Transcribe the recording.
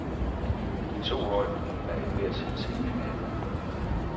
De to hold er i hver sin semifinale.